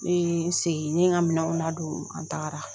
Ne ye n sigi ne ye n ka minɛnw na don an tagara